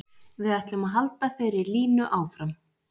Við ætlum að halda þeirri línu áfram.